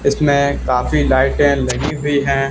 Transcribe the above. इसमें काफी लाइटें लगी हुई है।